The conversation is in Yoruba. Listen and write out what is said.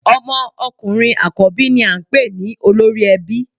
Ọmọ ọkùnrin àkọ́bí ni à n pè ní Olórí Ẹbí